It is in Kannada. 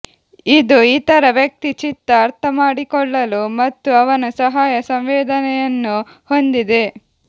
ಇದು ಇತರ ವ್ಯಕ್ತಿ ಚಿತ್ತ ಅರ್ಥಮಾಡಿಕೊಳ್ಳಲು ಮತ್ತು ಅವನ ಸಹಾಯ ಸಂವೇದನೆಯನ್ನು ಹೊಂದಿದೆ